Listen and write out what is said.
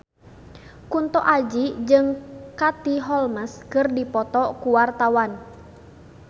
Kunto Aji jeung Katie Holmes keur dipoto ku wartawan